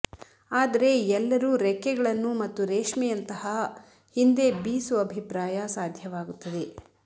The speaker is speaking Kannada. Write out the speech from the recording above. ಆದರೆ ಎಲ್ಲರೂ ರೆಕ್ಕೆಗಳನ್ನು ಮತ್ತು ರೇಷ್ಮೆಯಂತಹ ಹಿಂದೆ ಬೀಸು ಅಭಿಪ್ರಾಯ ಸಾಧ್ಯವಾಗುತ್ತದೆ